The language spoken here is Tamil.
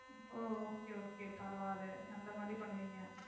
ஓ okay okay பரவாயில்ல அந்த மாதிரி பண்ணுவீங்க.